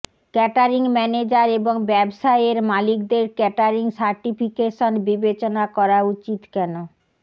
catering manager এবং ব্যবসায়ের মালিকদের কেটারিং সার্টিফিকেশন বিবেচনা করা উচিত কেন